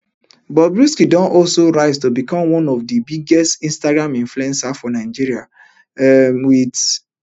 bobrisky don also rise to become one of di biggest instagram influencers for nigeria um wit